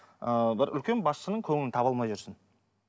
ыыы бір үлкен басшының көңілін таба алмай жүрсің